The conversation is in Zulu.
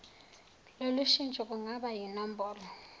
lolushintsho lungaba yinombholo